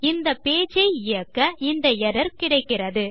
இந்த பேஜ் ஐ இயக்க இந்த எர்ரர் கிடைக்கிறது